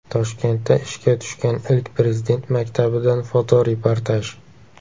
Toshkentda ishga tushgan ilk Prezident maktabidan fotoreportaj.